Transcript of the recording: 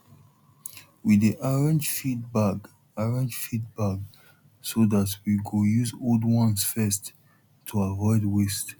we dey arrange feed bag arrange feed bag so dat we go use old ones first to avoid waste